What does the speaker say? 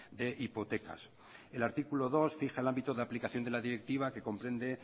de hipotecas el artículo dos fija el ámbito de aplicación de la directiva que comprende